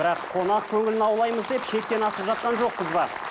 бірақ қонақ көңілін аулаймыз деп шектен асып жатқан жоқпыз ба